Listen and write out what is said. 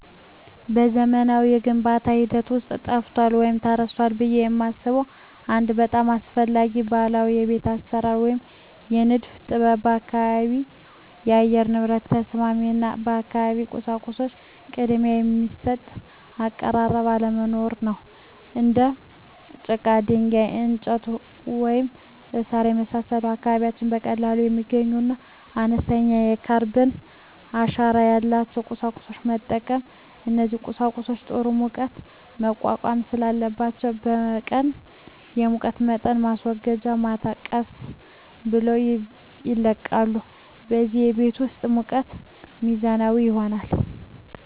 በዘመናዊው የግንባታ ሂደት ውስጥ ጠፍቷል ወይም ተረስቷል ብዬ የማስበው አንድ በጣም አስፈላጊ ባህላዊ የቤት አሰራር ወይም የንድፍ ጥበብ የአካባቢ የአየር ንብረት ተስማሚ እና ለአካባቢው ቁሳቁሶች ቅድሚያ የሚሰጥ አቀራረብ አለመኖር ነው። እንደ ጭቃ፣ ድንጋይ፣ እንጨት፣ ወይም ሣር የመሳሰሉ ከአካባቢው በቀላሉ የሚገኙና አነስተኛ የካርበን አሻራ ያላቸውን ቁሳቁሶች መጠቀም። እነዚህ ቁሳቁሶች ጥሩ የሙቀት መቋቋም ስላላቸው በቀን የሙቀት መጠንን ወስደው ማታ ቀስ ብለው ይለቃሉ፣ በዚህም የቤት ውስጥ ሙቀት ሚዛናዊ ይሆናል።